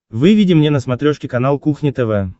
выведи мне на смотрешке канал кухня тв